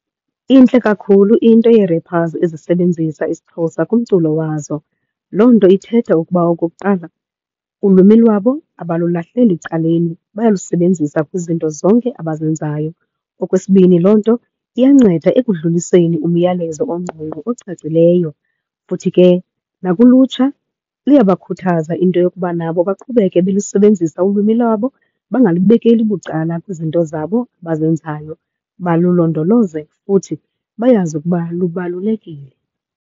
Intle kakhulu into yee-rappers ezisebenzisa isiXhosa kumculo wazo. Loo nto ithetha ukuba okokuqala, ulwimi lwabo abalulahleli caleni, bayalusebenzisa kwizinto zonke abazenzayo. Okwesibini, loo nto iyanceda ekudluliseni umyalezo ongqongqo ocacileyo. Futhi ke nakulutsha luyabakhuthaza into yokuba nabo baqhubeke belusebenzisa ulwimi lwabo, bangalubekeki bucala kwizinto zabo abazenzayo, balulondoloze futhi bayazi ukuba lubalulekile.